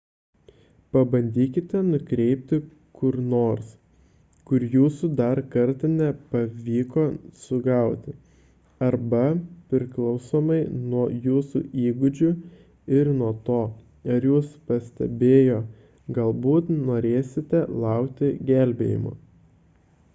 pabandykite nukreipti kur nors kur jūsų dar kartą nepavyko sugauti arba priklausomai nuo jūsų įgūdžių ir nuo to ar jus pastebėjo galbūt norėsite laukti gelbėjimo